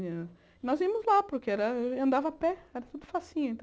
Nós íamos lá, porque era andava a pé, era tudo facinho.